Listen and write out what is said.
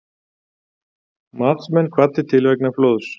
Matsmenn kvaddir til vegna flóðs